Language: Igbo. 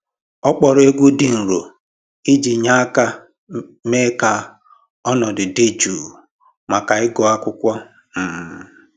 Ọ kpọrọ egwu dị nro iji nye aka mee ka ọnọdụ dị jụụ maka ịgụ akwụkwọ um